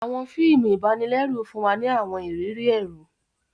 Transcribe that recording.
Awọn fíìmù ibanilẹru fún wa ni awọn ìrírí ẹru.